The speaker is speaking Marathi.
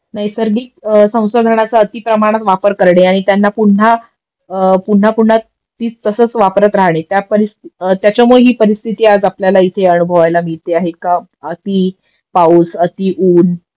नैसर्गिक संसर्गहनाचा अतिप्रमाणात वापर करणे त्यांना पुन्हा अ पुन्हा पुन्हा ती तसच वापरत राहणे त्या परिस्थी त्याच्यामुळे हि परिस्थिती आज आपल्याला इथे अनुभवायला मिळते आहे का अति पाऊस अति ऊन